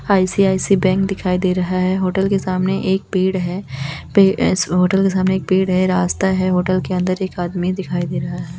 ICICI bank दिखाई दे रहा है होटल के सामने एक पेड़ है पे इस होटल के सामने एक पेड़ है रास्ता है होटल के अंदर एक आदमी दिखाई दे रहा है।